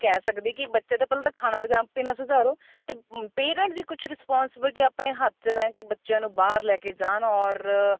ਕਹਿ ਸਕਦੀ ਕੀ ਬੱਚੇ ਦਾ ਪਹਿਲਾਂ ਤਾਂ ਖਾਣਾ ਪੀਣਾ ਸੁਧਾਰੋ ਤੇ parents ਦੀ ਕੁੱਝ responsibility ਆਪਣੇ ਹੱਥ ਚ ਲੈਣ ਕੀ ਬੱਚਿਆ ਨੂੰ ਬਾਹਰ ਲੈ ਕੇ ਜਾਣ or